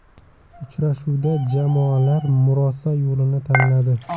Uchrashuvda jamoalar murosa yo‘lini tanladi.